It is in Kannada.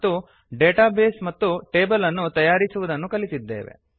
ಮತ್ತು ಡೇಟಾ ಬೇಸ್ ಮತ್ತು ಟೇಬಲ್ ಅನ್ನು ತಯಾರಿಸುವುದನ್ನು ಕಲಿತಿದ್ದೇವೆ